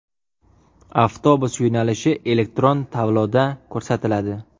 Avtobus yo‘nalishi elektron tabloda ko‘rsatiladi.